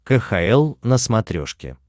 кхл на смотрешке